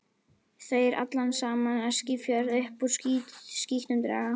Þeir allan saman Eskifjörð upp úr skítnum draga.